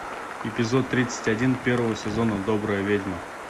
эпизод тридцать один первого сезона добрая ведьма